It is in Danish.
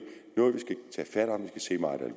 maj at man